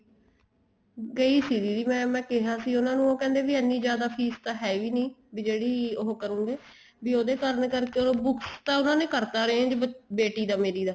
ਕਈ ਸੀ ਦੀਦੀ ਮੈਂ ਕਿਹਾ ਸੀ ਉਹਨਾ ਨੂੰ ਉਹ ਕਹਿੰਦੇ ਵੀ ਐਨੀ ਜਿਆਦਾ ਫ਼ੀਸ ਤਾਂ ਹੈ ਵੀ ਨਹੀਂ ਵੀ ਜਿਹੜੀ ਉਹ ਕਰੋਗੇ ਵੀ ਉਹਦੇ ਕਾਰਨ ਕਰਕੇ books ਤਾਂ ਉਹਨਾ ਨੇ ਕਰਤਾ arrange ਬੇਟੀ ਦਾ ਮੇਰੀ ਦਾ